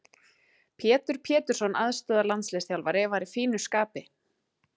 Pétur Pétursson aðstoðarlandsliðsþjálfari var í fínu skapi.